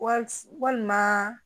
Wali walima